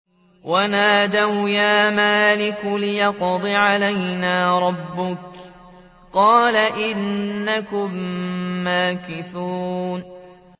وَنَادَوْا يَا مَالِكُ لِيَقْضِ عَلَيْنَا رَبُّكَ ۖ قَالَ إِنَّكُم مَّاكِثُونَ